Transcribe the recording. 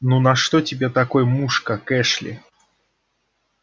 ну на что тебе такой муж как эшли